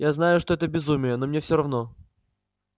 я знаю что это безумие но мне все равно